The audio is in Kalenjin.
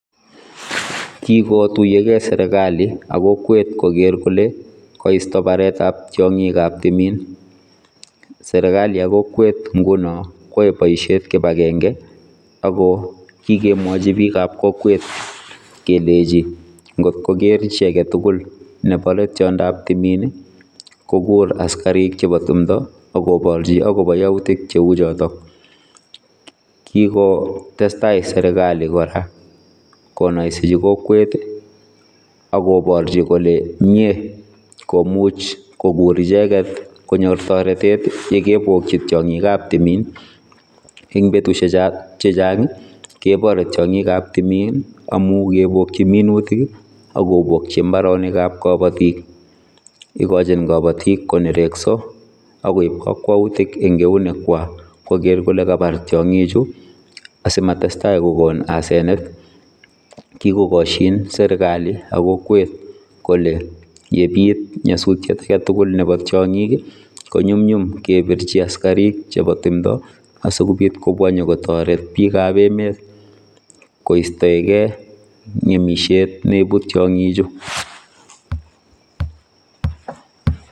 kikotuyokee serikali ak kokwet kogeer kole koisto baretab tiongikab timin serikali ak kokwet nguno kwae boisiet kipagenge akokikemwachi biikab kokwet kelechi ngotkokeer chi agetugul nebore tiondob timin kokur askarik chebo timdo akoborchi akobo yautik cheu chotok. Kikotestai serikali kora konoisechi kokwet agoborchi kole mie komuch kogur icheket konyoak toretet yekebokchi tiongikab timin eng betusiek chehchang kebore tiongikab timin amu kebokyi minutik akobokyi mbronikab kabotik ikochin kabotik konerekso akoib kakwautik eng eunekwak koger kole kabar tiongikchu asimatestai kokon asenet kikokosyin serikali ak kokwet kole yebiit nyasutiet agetugul nebo tiongik konyumnyum kebirchi askarik chebo timdo asikobit kobwa nyiko toret pikapemet koistoegei ngemisiet neibu tiongichu